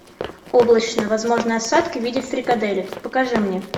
облачно возможны осадки в виде фрикаделек покажи мне